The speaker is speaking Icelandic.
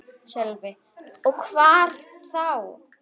Sölvi: Og hvar þá?